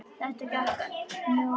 Þetta gekk mjög vel.